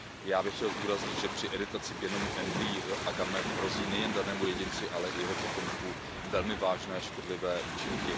Já bych chtěl zdůraznit, že při editaci genomu embryí a gamet hrozí nejenom danému jedinci, ale i jeho potomkům velmi vážné škodlivé účinky.